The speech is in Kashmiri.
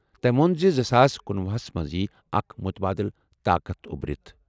تٔمۍ ووٚن زِ زٕ ساس کنُۄہُ ہَس منٛز یِیہِ اکھ مُتبادل طاقت اُبرِتھ۔